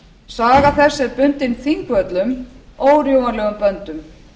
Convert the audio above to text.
saga þess er bundin þingvöllum órjúfanlegum böndum